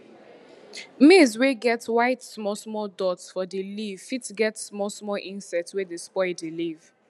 maize wey get white small small dot for di leave fit get small small insect wey dey spoil di leave